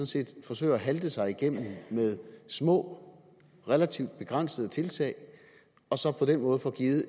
set forsøger at halte sig igennem med små relativt begrænsede tiltag og så på den måde